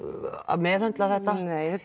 meðhöndla þetta nei þetta